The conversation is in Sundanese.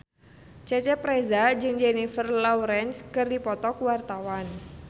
Cecep Reza jeung Jennifer Lawrence keur dipoto ku wartawan